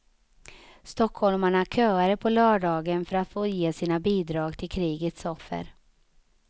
Stockholmarna köade på lördagen för att få ge sina bidrag till krigets offer.